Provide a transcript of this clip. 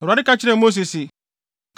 Awurade ka kyerɛɛ Mose se,